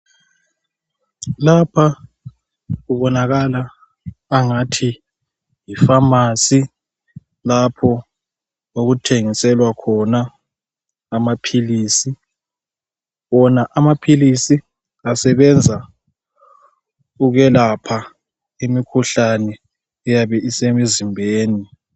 Lapha kubonakala angathi yi pharmacy lapho okuthengiselwa khona amaphilisi wona amaphilisi asebenza ukwelapha imikhuhlane eyabe isemizimbeni.